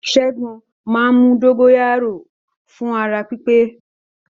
Ṣẹ́gun máa ń mu dógóyárò fún ara pípé